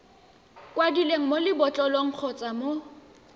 kwadilweng mo lebotlolong kgotsa mo